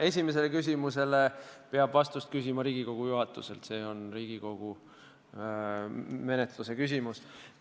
Esimesele küsimusele peab vastust küsima Riigikogu juhatuselt, see on Riigikogu menetluse küsimus.